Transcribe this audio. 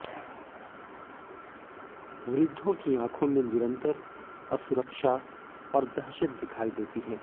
वृद्धों की आंखों में निरंतर असुरक्षा और दहशत दिखाई देती है